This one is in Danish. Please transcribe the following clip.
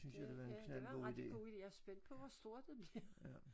Det ja det var en ret god ide jeg spændt på hvor stor den bliver